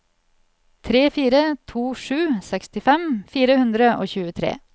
tre fire to sju sekstifem fire hundre og tjuetre